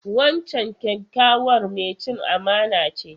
Wancan kyakkyawar mai cin amana ce.